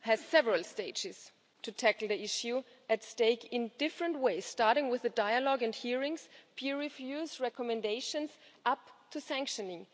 has several stages to tackle the issue at stake in different ways, starting with the dialogue and hearings, peer reviews and recommendations, up to sanctioning.